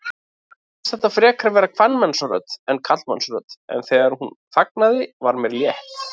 Mér fannst þetta frekar vera kvenmannsrödd en karlmannsrödd, en þegar hún þagnaði var mér létt.